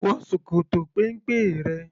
Wọ ṣòkòtò péńpé rẹ!